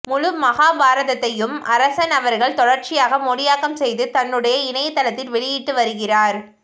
முழுமகாபாரதத்தையும் அரசன் அவர்கள் தொடர்ச்சியாக மொழியாக்கம் செய்து தன்னுடைய இணையதளத்தில் வெளியிட்டு வருகிறார்